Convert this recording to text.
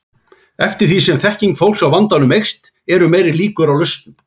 Eftir því sem þekking fólks á vandanum eykst eru meiri líkur á lausnum.